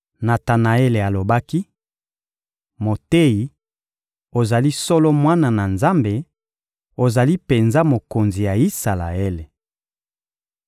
Natanaele alobaki: — Moteyi, ozali solo Mwana na Nzambe; ozali penza Mokonzi ya Isalaele.